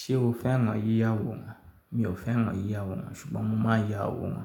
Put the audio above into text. Ṣé o fẹ́ràn yíya àwòrán? Mi ò fẹ́ràn yíya àwòrán ṣùgbọ́n mo máa ya àwòrán.